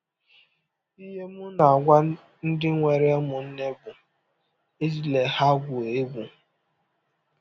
Ihe m na - agwa ndị nwere ụmụnne bụ, ‘ Ejila ha egwụ egwụ! ’”